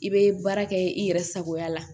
I bɛ baara kɛ i yɛrɛ sagoya la